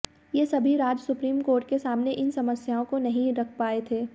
ये सभी राज्य सुप्रीम कोर्ट के सामने इन समस्याओं को नहीं रख पाए थे